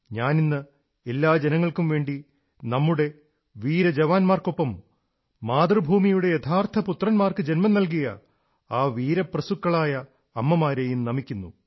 ഞാനിന്ന് എല്ലാ ജനങ്ങൾക്കും വേണ്ടി നമ്മുടെ വീര ജവാന്മാർക്കൊപ്പം മാതൃഭൂമിയുടെ യഥാർഥ പുത്രന്മാർക്കു ജന്മം നല്കിയ ആ വീരപ്രസുക്കളായ അമ്മമാരെയും നമിക്കുന്നു